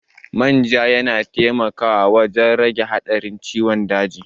Manja yana taimakawa wajen rage haɗarin ciwon daji.